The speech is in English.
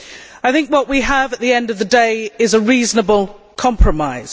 I think what we have, at the end of the day, is a reasonable compromise.